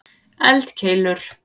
eldkeilur